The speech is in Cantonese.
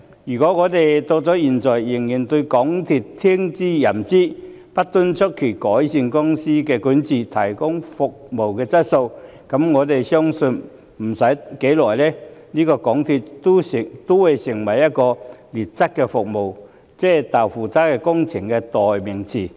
如果現在仍對港鐵公司聽之任之，不敦促其改善公司管治、提高服務質素，我相信不多久，港鐵公司便會淪為"劣質服務"、"'豆腐渣'工程"的代名詞。